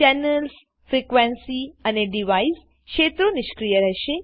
channels frequency અને device ક્ષેત્રો નિષ્ક્રિય રહેશે